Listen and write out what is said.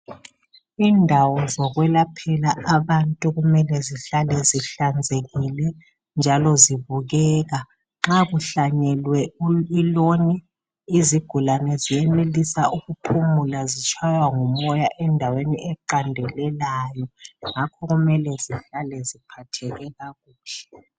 Indawo zokwelaphela abantu kummele zihlale zihlanzekile njalo zibukeka. Nxa kuhlanyelwe iloni izigulane ziyenelisa ukuphumula zitshaywa ngumoya endaweni eqandelelayo, ngakho kummele zihlale ziphatheke kakuhle.